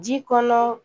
Ji kɔnɔ